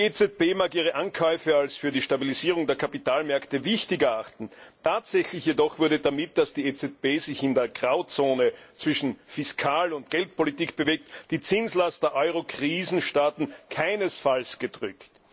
Die EZB mag ihre Ankäufe als für die Stabilisierung der Kapitalmärkte wichtig erachten, tatsächlich jedoch wurde damit, dass die EZB sich in der Grauzone zwischen Fiskal und Geldpolitik bewegt, die Zinslast der Eurokrisenstaaten keinesfalls gedrückt.